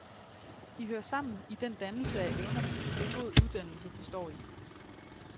De hører sammen i den dannelse af evnerne, som god uddannelse består i.